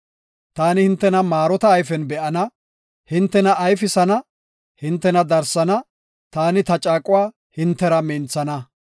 Taani hintena maarota ayfen be7ana; hintena ayfisana; hintena darsana; taani ta caaquwa hintera minthana.